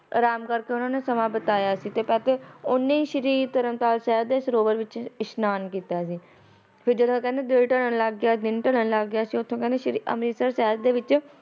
ਰਾਮਗੜ ਤੋ ਉਨਾ ਨੇ ਸਮਾ ਬਿਤਾਈਆ ਸੀ ਉਨਾ ਤਰਨਤਾਰਨ ਸਾਹਿਬ ਵਿੱਚ ਇਸ਼ਨਾਨ ਕੀਤਾ ਸੀ ਫਿਰ ਜਦੋਂ ਕਹਿੰਦੇ ਦਿਨ ਢਲਣਲਗ ਗਿਆ ਉਥੋ ਸ੍ਰੀ ਅੰਮ੍ਰਿਤਸਰ ਸਾਹਿਬ ਦੇ ਵਿੱਚ